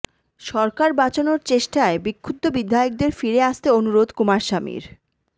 সরকার বাঁচানোর চেষ্টায় বিক্ষুব্ধ বিধায়কদের ফিরে আসতে অনুরোধ কুমারস্বামীর